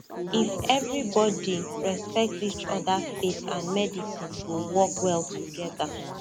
if everybody respect each other faith and medicine go work well together